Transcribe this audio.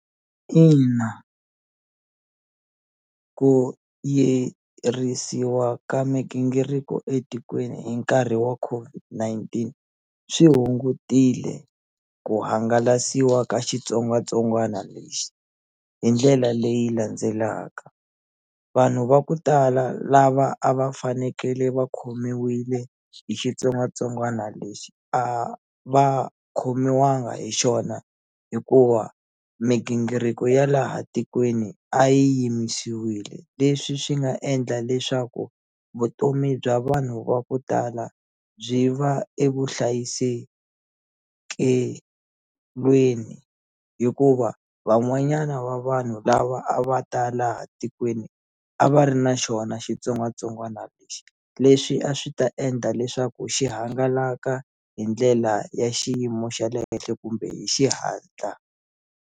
Ina ku yirisiwa ka migingiriko etikweni hi nkarhi wa COVID-19 swi hungutile ku hangalasiwa ka xitsongwatsongwana lexi hi ndlela leyi landzelaka vanhu va ku tala lava a va fanekele va khomiwile hi xitsongwatsongwana lexi a va khomiwanga hi xona hikuva migingiriko ya laha tikweni a yimisiwile leswi swi nga endla leswaku vutomi bya vanhu va ku tala byi va evuhlayisekelweni hikuva van'wanyana va vanhu lava a va ta laha tikweni a va ri na xona xitsongwatsongwana lexi leswi a swi ta endla leswaku xi hangalaka hi ndlela ya xiyimo xa le henhle kumbe hi xihatla.